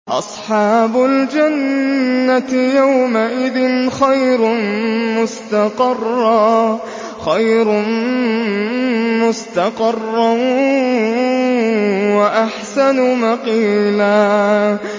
أَصْحَابُ الْجَنَّةِ يَوْمَئِذٍ خَيْرٌ مُّسْتَقَرًّا وَأَحْسَنُ مَقِيلًا